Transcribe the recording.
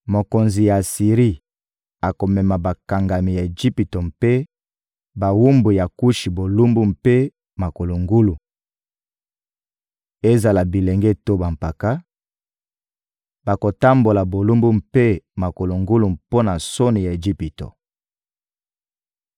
mokonzi ya Asiri akomema bakangami ya Ejipito mpe bawumbu ya Kushi bolumbu mpe makolo ngulu: ezala bilenge to bampaka, bakotambola bolumbu mpe makolo ngulu mpo na soni ya Ejipito.